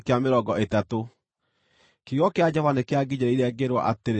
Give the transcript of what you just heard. Kiugo kĩa Jehova nĩkĩanginyĩrĩire, ngĩĩrwo atĩrĩ